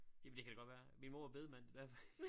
Jamen det kan da godt være min mor var bedemand det derfor